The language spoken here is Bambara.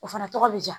O fana tɔgɔ bɛ diya